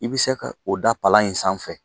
I bɛ se ka o da palan in sanfɛ